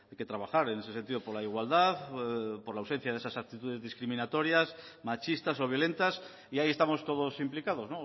que trabajar en ese sentido por la igualdad por la ausencia de esas actitudes discriminatorias machistas o violentas y ahí estamos todos implicados